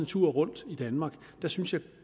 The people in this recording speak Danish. tur rundt i danmark synes jeg